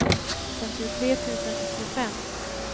femtiotre tusen åttiofem